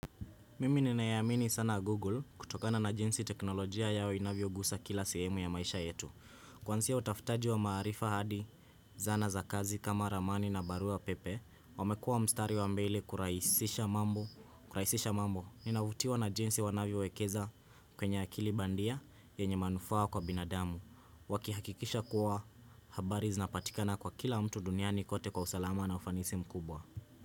Mimi ninaiamini sana Google kutokana na jinsi teknolojia yao inavyo gusa kila sehemu ya maisha yetu. Kwansia utafutaji wa maarifa hadi, zana za kazi kama ramani na barua pepe, wamekuwa mstari wa mbele kurahisisha mambo, kurahisisha mambo. Ninavutiwa na jinsi wanavyo wekeza kwenye akili bandia yenye manufaa kwa binadamu. Wakihakikisha kuwa habari zinapatikana kwa kila mtu duniani kote kwa usalama na ufanisi mkubwa.